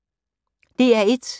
DR1